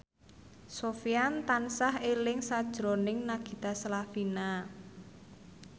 Sofyan tansah eling sakjroning Nagita Slavina